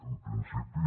en principi